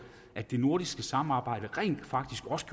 at det nordiske samarbejde rent faktisk også